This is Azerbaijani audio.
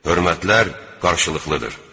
Hörmətlər qarşılıqlıdır.